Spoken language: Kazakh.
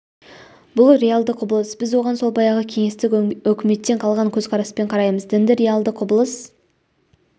бұл реалды құбылыс біз оған сол баяғы кеңестік өкіметтен қалған көзқараспен қараймыз дінді реалды құбылыс